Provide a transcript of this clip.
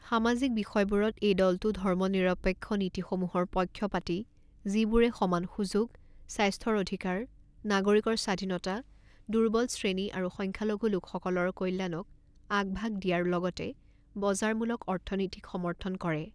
সামাজিক বিষয়বোৰত এই দলটো ধৰ্মনিৰপেক্ষ নীতিসমূহৰ পক্ষপাতী যিবোৰে সমান সুযোগ, স্বাস্থ্যৰ অধিকাৰ, নাগৰিকৰ স্বাধীনতা, দুৰ্বল শ্ৰেণী আৰু সংখ্যালঘু লোকসকলৰ কল্যাণক আগভাগ দিয়াৰ লগতে বজাৰমূলক অৰ্থনিতীক সমৰ্থন কৰে।